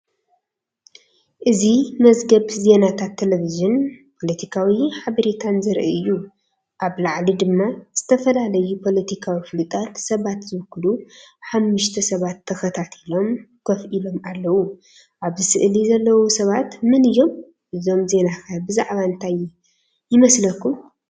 እዚ መዝገብ ዜናታት ቴሌቪዥንን ፖለቲካዊ ሓበሬታን ዘርኢ እዩ። ኣብ ላዕሊ ድማ ዝተፈላለዩ ፖለቲካዊ ፍሉጣት ሰባት ዝውክሉ ሓሙሽተ ሰባት ተኸታቲሎም ኮፍ ኢሎም ኣለዉ። ኣብዚ ስእሊ ዘለዉ ሰባት መን እዮም? እዚ ዜናኸ ብዛዕባ እንታይ ይመስለኩም?